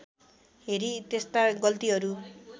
हेरी त्यस्ता गल्तीहरू